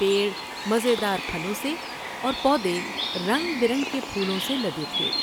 پیڑ مزے دار پھلوں سے اور پودے رنگ برنگ کے پھولوں سے لدے تھے ۔